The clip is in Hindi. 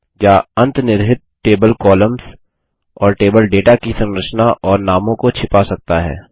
या अंतनिर्हित टेबल कॉलम्स और टेबल डेटा की संरचना और नामों को छिपा सकता है